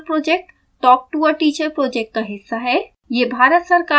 spoken tutorial project talk to a teacher project का हिस्सा है